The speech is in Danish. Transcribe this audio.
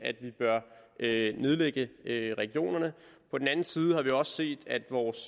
at man nedlægge regionerne på den anden side har vi også set at vores